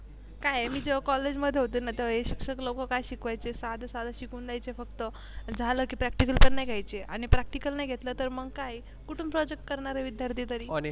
काय आहे जेव्हा मी कॉलेजे मध्ये होते. ना तेव्हा ही शिक्षक लोक काय शिकवायचे साधे साधे शिकून द्यायचे फक्त झाल की practical पण नाही घ्यायच आणि Practicle नाही घेतल तर मग काय आहे कुठून Projrct करणार हे विद्यार्थी तरी?